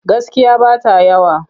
Gaskiya ba ta yawa.